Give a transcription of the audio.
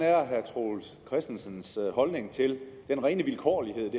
er herre troels christensens holdning til den rene vilkårlighed